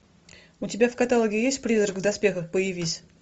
у тебя в каталоге есть призрак в доспехах появись